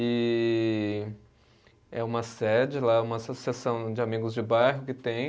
E é uma sede lá, é uma associação de amigos de bairro que tem.